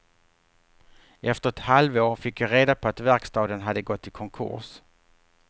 Efter ett halvår fick jag reda på att verkstaden hade gått i konkurs.